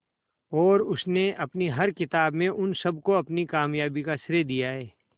और उसने अपनी हर किताब में उन सबको अपनी कामयाबी का श्रेय दिया है